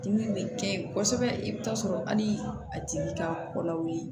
Dimi bɛ kɛ kosɛbɛ i bɛ t'a sɔrɔ hali a tigi ka kɔlaw ye